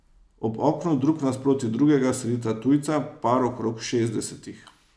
Ob oknu drug nasproti drugega sedita tujca, par okrog šestdesetih.